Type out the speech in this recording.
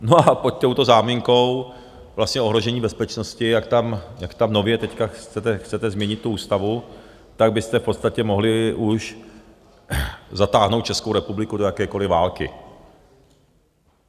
No a pod touto záminkou vlastně ohrožení bezpečnosti, jak tam nově teď chcete změnit tu ústavu, tak byste v podstatě mohli už zatáhnout Českou republiku do jakékoliv války.